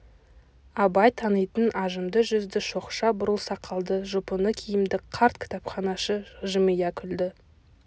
абай танитын ажымды жүзді шоқша бурыл сақалды жұпыны киімді қарт кітапханашы жымия күлді